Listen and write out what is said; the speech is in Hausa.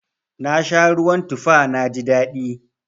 Na sha ruwan tufa na ji daɗi.